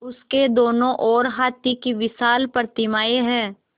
उसके दोनों ओर हाथी की विशाल प्रतिमाएँ हैं